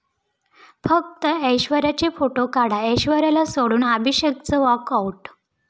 फक्त ऐश्वर्याचे फोटो काढा', ऐश्वर्याला सोडून अभिषेकचं 'वॉकआऊट'